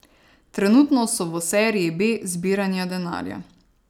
Trenutno so v seriji B zbiranja denarja.